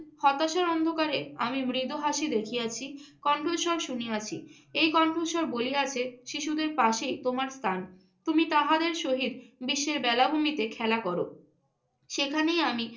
হতাশার অন্ধকারে আমি মৃদু হাসি দেখিয়াছি, কণ্ঠস্বর শুনিয়াছি। এই কণ্ঠস্বর বলিয়াছে, শিশুদের পাশেই তোমার স্থান। তুমি তাহাদের সহিত বিশ্বের বেলাভূমিতে খেলা কর। সেখানেই আমি